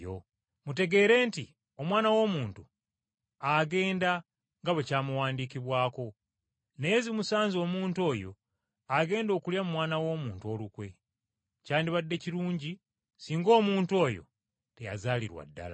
Mutegeere nti Omwana w’Omuntu agenda nga bwe kyamuwandiikibwako, naye zimusanze omuntu oyo agenda okulya mu Mwana w’Omuntu olukwe. Kyandibadde kirungi singa omuntu oyo teyazaalirwa ddala.”